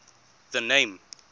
the name